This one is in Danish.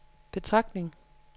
betragtning